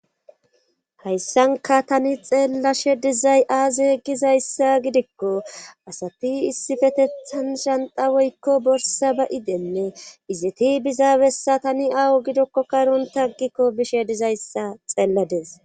hayssanka tani xeellashe dizay aazi gizayssa gidikko asati issifetethan shanta woykko borsa ba7idenne iziti bizaabessa tani awo gidokko karon taggikko bishe dizayssa xeellades